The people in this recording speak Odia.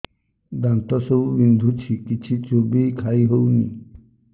ଦାନ୍ତ ସବୁ ବିନ୍ଧୁଛି କିଛି ଚୋବେଇ ଖାଇ ହଉନି